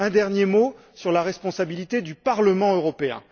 Un dernier mot sur la responsabilité du Parlement européen.